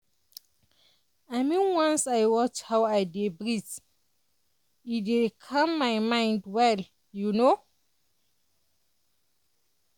mean once i watch how i dey breathe e dey calm my mind well you know